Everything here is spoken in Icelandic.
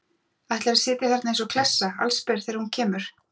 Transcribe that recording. Ætlarðu að sitja þarna eins og klessa, allsber, þegar hún kemur?